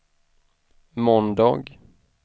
måndag